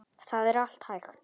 Það er allt hægt.